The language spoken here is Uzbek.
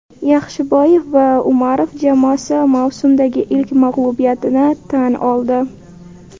Yaxshiboyev va Umarov jamoasi mavsumdagi ilk mag‘lubiyatini tan oldi.